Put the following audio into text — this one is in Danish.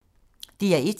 DR1